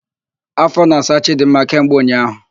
Áfọ na-asa Chidimma kemgbe ụnyaahụ.